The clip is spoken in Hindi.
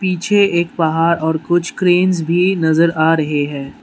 पीछे एक पहाड़ और कुछ क्रेंस भी नजर आ रहे हैं।